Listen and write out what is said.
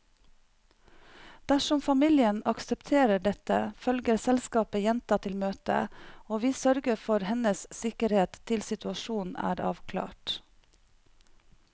Dersom familien aksepterer dette, følger selskapet jenta til møtet, og vi sørger for hennes sikkerhet til situasjonen er avklart.